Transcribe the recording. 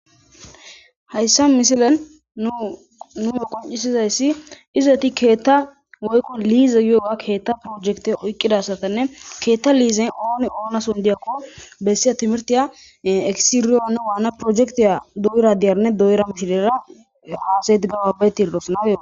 hayssa mishilen nunue qoccisizayssi izoeti keetta woykko liiza yooga keetta projekte oyqqidasatanne keetta liizen ooni oona sondiyakko bessiya timirtiya esiriyoone waana projekti doyira diyarne do7yra mishilera haasetigababatiirdosna